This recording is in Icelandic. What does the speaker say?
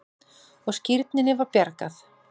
Og skírninni var bjargað.